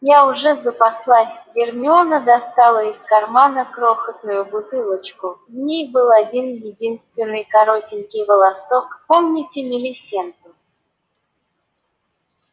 я уже запаслась гермиона достала из кармана крохотную бутылочку в ней был один-единственный коротенький волосок помните милисенту